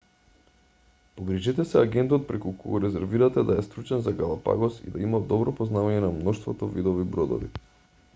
погрижете се агентот преку кого резервирате да е стручен за галапагос и да има добро познавање на мноштвото видови бродови